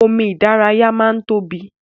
Omi ìdárayá máa n tóbi.